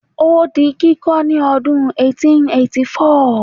o di kiko ni odun eighteen eighty four